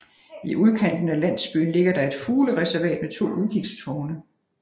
I udkanten af landsbyen ligger der et fuglereservat med to udkigstårne